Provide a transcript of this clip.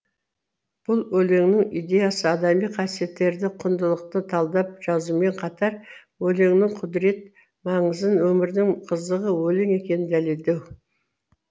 бұл өлеңнің идеясы адами қасиеттерді құндылықты талдап жазумен қатар өлеңнің құдірет маңызын өмірдің қызығы өлең екенін дәлелдеу